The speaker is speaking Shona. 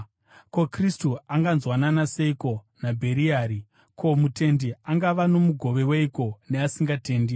Ko, Kristu anganzwanana seiko naBheriari? Ko, mutendi angava nomugove weiko neasingatendi?